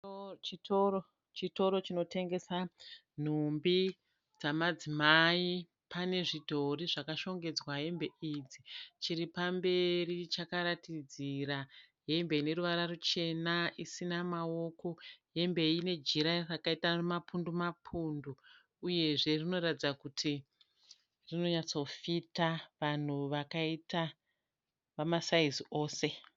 Chitoro chinotengesa nhumbi dzamadzimai. Pane zvidhori zvakashongedzwa hembe idzi. Chiri pamberi chakaratidzira hembe ine ruvara ruchena isina maoko. Hembe iyi ine jira rakaita mapundu mapundu uyezve rinoratidza kuti rinonyatsofita vanhu vakaita vamasaizi ose.